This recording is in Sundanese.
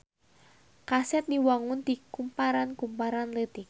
Kaset diwangun ti kumparan-kumparan leutik.